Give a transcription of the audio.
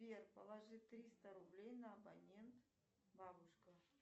сбер положи триста рублей на абонент бабушка